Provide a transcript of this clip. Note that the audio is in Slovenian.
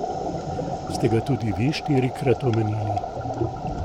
Ste ga tudi vi štirikrat omenili?